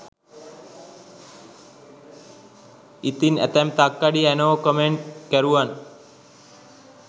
ඉතින් ඇතැම් තක්කඩි ඇනෝ කොමෙන්ට් කරුවන්